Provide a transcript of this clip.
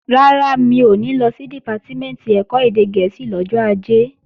Rárá, mi ò ní lọ sí Dìpátímẹ̀ntì ẹ̀kọ́ èdè gẹ̀ẹ́sì lọ́jọ́ Ajé